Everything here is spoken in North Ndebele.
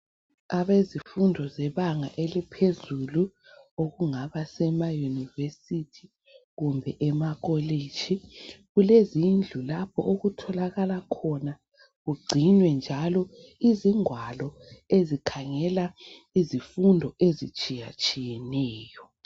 Abezifundo zebanga eliphezulu okungaba semaYunivesithi kumbe emakolitshi kulezindlu lapho okutholakala khona kungcinwe njalo izingwalo ezikhangela izifundo ezitshiyatshiyeneyo.